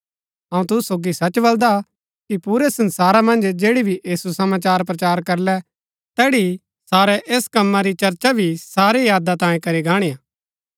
अऊँ तुसु सोगी सच बलदा कि पुरै संसारा मन्ज जैड़ी भी ऐह सुसमाचार प्रचार करलै तैड़ी सारै ऐस कम्मा री चर्चा भी सारी यादा तांयें करी गाणिआ